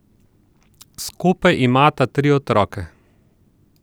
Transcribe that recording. Skupaj imata tri otroke.